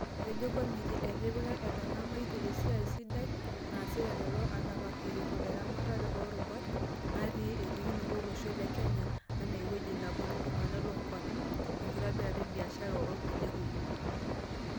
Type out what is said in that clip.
Etejo Komitii etipika etangamaitia esiai sidai naasita lelo anapak eretu eramatare oo rubata natii "Elikinoto olosho le Kenya enaa eweji naponu iltunganak loonkuapi, enkitobirata e biashara ongulia kumok."